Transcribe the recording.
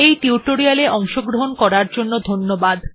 এই টিউটোরিয়াল্ এ অংশগ্রহন করার জন্য ধন্যবাদ